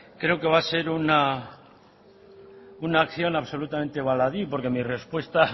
creo que va a ser una acción absolutamente baladí porque mi respuesta